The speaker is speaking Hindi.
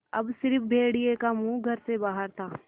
अब स़िर्फ भेड़िए का मुँह घर से बाहर था